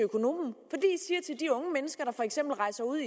unge mennesker der for eksempel rejser ud